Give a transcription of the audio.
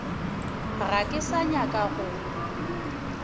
ga ke sa nyaka go